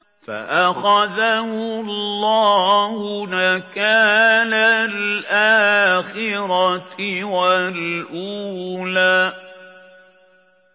فَأَخَذَهُ اللَّهُ نَكَالَ الْآخِرَةِ وَالْأُولَىٰ